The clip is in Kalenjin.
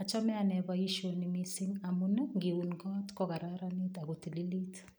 Achame ane boisioni mising amun ngiun kot kokararanit agotililit.